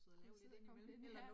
Kunne sidde og komme lidt ja